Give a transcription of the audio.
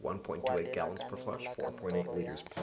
kwa lekaleng la kantoro ya